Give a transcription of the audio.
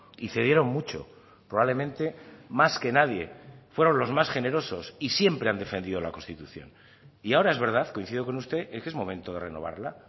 y cedieron mucho probablemente más que nadie fueron los más generosos y siempre han defendido la constitución y ahora es verdad coincido con usted en que es momento de renovarla